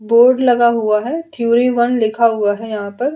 Board लगा हुआ है थ्योरी वन लिखा हुआ है यहाँ पर।